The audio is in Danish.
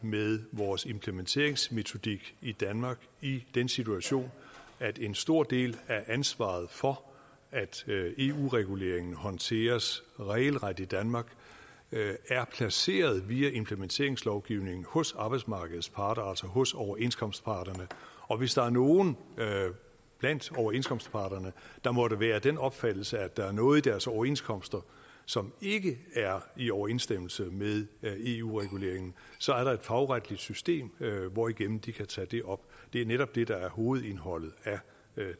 med vores implementeringsmetodik i danmark i den situation at en stor del af ansvaret for at eu reguleringen håndteres regelret i danmark er placeret via implementeringslovgivningen hos arbejdsmarkedets parter altså hos overenskomstparterne og hvis der er nogle blandt overenskomstparterne der måtte være af den opfattelse at der er noget i deres overenskomster som ikke er i overensstemmelse med eu reguleringen så er der et fagretligt system hvorigennem de kan tage det op det er netop det der er hovedindholdet af